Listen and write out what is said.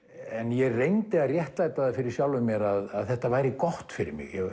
en ég reyndi að réttlæta það fyrir sjálfum mér að þetta væri gott fyrir mig